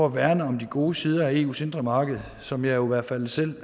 at værne om de gode sider af eus indre marked som jeg jo i hvert fald selv